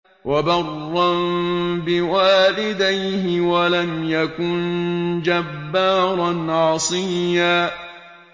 وَبَرًّا بِوَالِدَيْهِ وَلَمْ يَكُن جَبَّارًا عَصِيًّا